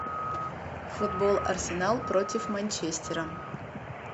футбол арсенал против манчестера